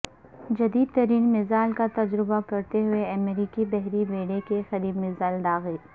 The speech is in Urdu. جدیدترین میزائل کا تجربہ کرتے ہوئے امریکی بحری بیڑے کے قریب میزائل داغے